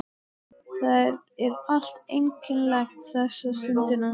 Það er allt einkennilegt þessa stundina.